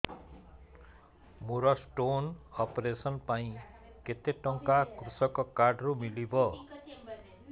ମୋର stone operation ପାଇଁ କେତେ ଟଙ୍କା କୃଷକ କାର୍ଡ ରୁ ମିଳିବ